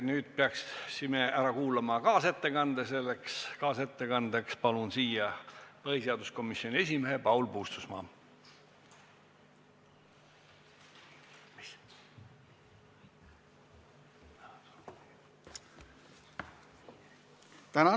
Nüüd peame ära kuulama kaasettekande, milleks palun kõnepulti põhiseaduskomisjoni esimehe Paul Puustusmaa.